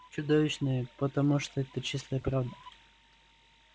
чудовищные потому что это чистая правда